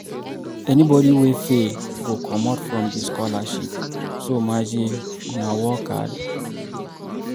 Anybody wey fail go comot from the scholarship so maje una work hard.